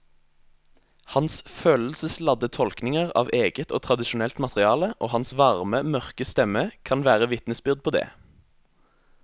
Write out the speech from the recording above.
Hans følelsesladde tolkninger av eget og tradisjonelt materiale og hans varme mørke stemme kan være vitnesbyrd på det.